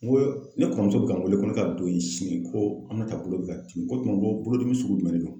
N ko ne kɔrɔmuso bi ka n wele ko ne ka don in sini ko Aminata bolo bi ka tin, ko tuma ko bolodimi sugu jumɛn de don ?